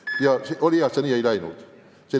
Väga hea, et see nii ei läinud.